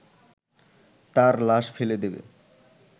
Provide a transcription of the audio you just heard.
তার লাশ ফেলে দেবে